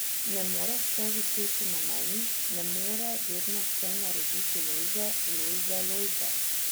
Ne more vse viseti na meni, ne more vedno vse narediti Lojze, Lojze, Lojze...